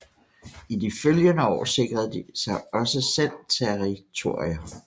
I de følgende år sikrede de sig også selv territorier